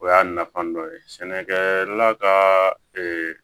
O y'a nafa dɔ ye sɛnɛkɛ la ka